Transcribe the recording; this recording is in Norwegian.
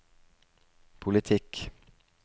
politikk